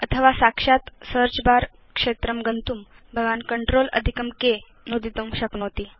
अथवा साक्षात् सेऽर्च बर क्षेत्रं गन्तुं भवान् CTRLK नुदितुं शक्नोति